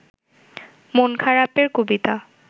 মন খারাপের কবিতা